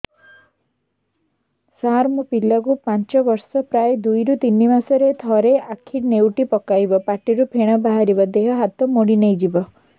ସାର ମୋ ପିଲା କୁ ପାଞ୍ଚ ବର୍ଷ ପ୍ରାୟ ଦୁଇରୁ ତିନି ମାସ ରେ ଥରେ ଆଖି ନେଉଟି ପକାଇବ ପାଟିରୁ ଫେଣ ବାହାରିବ ଦେହ ହାତ ମୋଡି ନେଇଯିବ